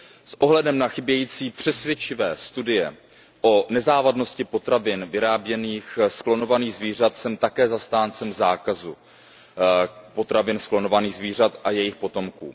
S ohledem na chybějící přesvědčivé studie o nezávadnosti potravin vyráběných z klonovaných zvířat jsem také zastáncem zákazu potravin z klonovaných zvířat a jejich potomků.